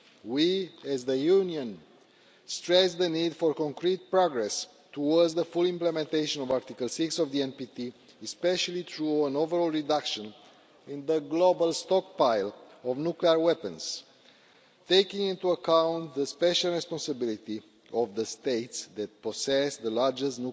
We, as the Union, stress the need for concrete progress towards the full implementation of Article 6 of the NPT, especially through an overall reduction in the global stockpile of nuclear weapons, taking into account the special responsibility of the states that possess the largest